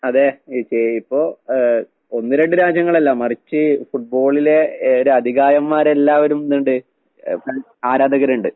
അതെ ഇപ്പൊ ഏഹ് ഒന്ന് രണ്ട് രാജ്യങ്ങളല്ല മറിച്ച് ഫുട്ബോളിലെ ഏഹ് ഒരു അധികായന്മാരെല്ലാവരും എന്തിണ്ട് ഏഹ് ഫാൻസ്‌ ആരാധകരിണ്ട്.